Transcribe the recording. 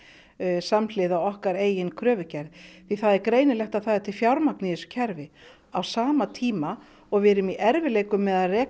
samhliða okkar eigin kröfugerð því það er greinilegt að það er til fjármagn í þessu kerfi á sama tíma og við erum í erfiðleikum með að reka